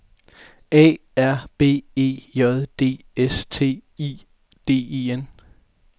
A R B E J D S T I D E N